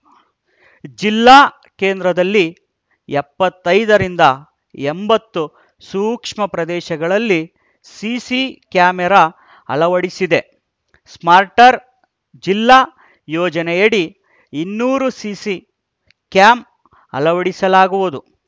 ಜಿಲ್ಲಾ ಕೇಂದ್ರದಲ್ಲಿ ಎಪ್ಪತ್ತೈದರಿಂದ ಎಂಬತ್ತು ಸೂಕ್ಷ್ಮ ಪ್ರದೇಶಗಳಲ್ಲಿ ಸಿಸಿ ಕ್ಯಾಮೆರಾ ಅಳವಡಿಸಿದೆ ಸ್ಮಾರ್ಟರ್ ಸಿಟಿ ಯೋಜನೆಯಡಿ ಇನ್ನೂರು ಸಿಸಿ ಕ್ಯಾಮ್‌ ಅಳವಡಿಸಲಾಗುವುದು